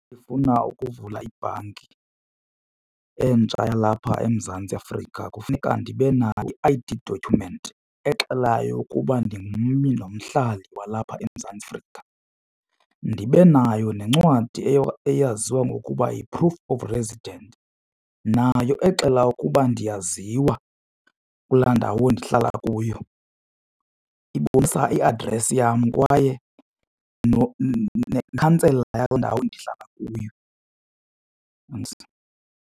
Ndifuna ukuvula ibhanki entsha yalapha eMzantsi Afrika kufuneka ndibe nayo i-I_D document exelayo ukuba ndingummi nomhlali walapha eMzantsi Afrika. Ndibe nayo nencwadi eyaziwa ngokuba yi-proof of resident nayo exela ukuba ndiyaziwa kulaa ndawo ndihlala kuyo. Kuyo ibonisa i-address yam kwaye nekhansela yaloo ndawo ndihlala kuyo.